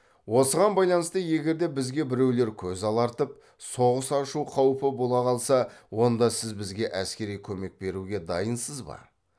осыған байланысты егер де бізге біреулер көз алартып соғыс ашу қаупі бола қалса онда сіз бізге әскери көмек беруге дайынсыз ба